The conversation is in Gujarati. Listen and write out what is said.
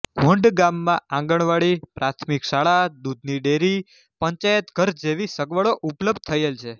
હોન્ડ ગામમાં આંગણવાડી પ્રાથમિક શાળા દુધની ડેરી પંચાયતઘર જેવી સગવડો ઉપલબ્ધ થયેલ છે